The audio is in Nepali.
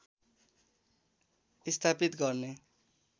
स्थापित गर्ने